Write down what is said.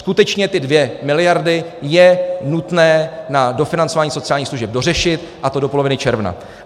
Skutečně ty 2 miliardy je nutné na dofinancování sociálních služeb dořešit, a to do poloviny června.